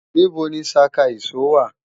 Níbo ni ṣaka ìṣó wà